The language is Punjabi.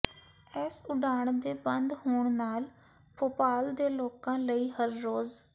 ਇਸ ਉਡਾਣ ਦੇ ਬੰਦ ਹੋਣ ਨਾਲ ਭੋਪਾਲ ਦੇ ਲੋਕਾਂ ਲਈ ਹਰ ਰੋਜ਼